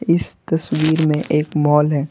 इस तस्वीर में एक मॉल है।